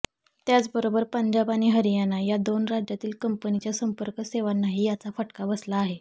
त्याचबरोबर पंजाब आणि हरियाणा या दोन राज्यातील कंपनीच्या संपर्क सेवांनाही याचा फटका बसला आहे